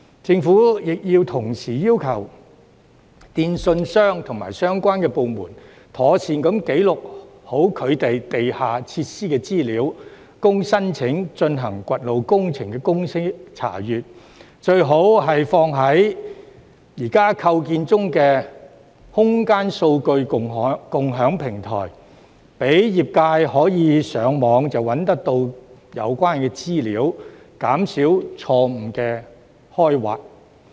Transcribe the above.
政府亦要同時要求電訊商及相關部門，妥善記錄其地下設施的資料，供申請進行掘路工程的公司查閱，最好是存放在現時構建中的空間數據共享平台，讓業界可以上網便找到有關資料，減少錯誤的開挖。